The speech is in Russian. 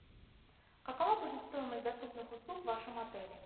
какова будет стоимость доступных услуг в вашем отеле